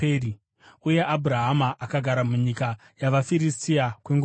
Uye Abhurahama akagara munyika yavaFiristia kwenguva refu.